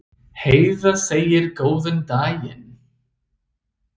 Heiða segir góðan daginn!